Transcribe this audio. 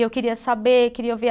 E eu queria saber, queria ouvir.